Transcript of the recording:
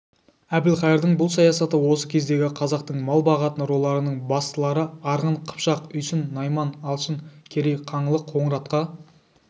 әбілқайырдың бұл саясаты осы кездегі қазақтың мал бағатын руларының бастылары арғын қыпшақ үйсін найман алшын керей қаңлы қоңыратқа